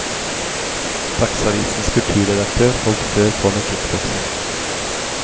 Dagsavisens kulturredaktør holdt før på med kickboksing.